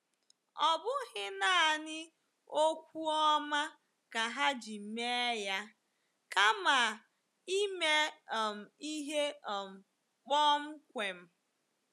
Ọ bụghị nanị okwu ọma ka ha ji mee ya kama ime um ihe um kpọmkwem.